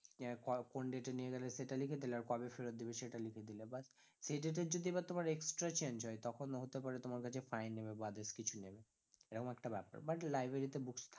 ক~ কোন date এ নিয়ে গেলে সেটা লিখে দিলে আর কবে ফেরত দেবে সেটা লিখে দিলে, but সেই date এর যদি এবার তোমার extra change হয় তখন হতে পারে তোমার কাছে fine নেবে বা others কিছু নেবে এরকম একটা ব্যাপার, but library তে books থা~